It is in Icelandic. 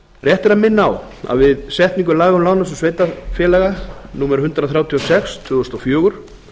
rétt er að minna á að við setningu laga um lánasjóð sveitarfélaga númer hundrað þrjátíu og sex tvö þúsund og fjögur